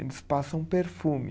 Eles passam perfume.